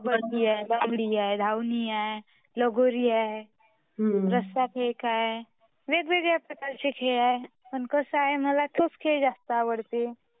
खबड्डी आहे, बांगडी आहे, धवनी आहे, लगोरी आहे, रसा फेक आहे. अशे खुपसाऱ्या प्रकारचे खेळ आहे पण कसा आहे मला तोच खेळ जस्त आवडते.